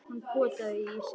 Hún potaði í ísinn.